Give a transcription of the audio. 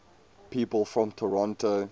people from toronto